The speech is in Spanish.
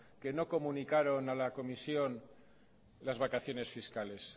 que no comunicaron a la comisión las vacaciones fiscales